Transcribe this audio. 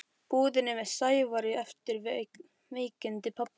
búðinni með Sævari eftir veikindi pabba.